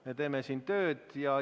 Me teeme siin tööd.